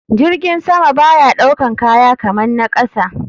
Jirgin sama baya ɗaukan kaya kaman na kasa.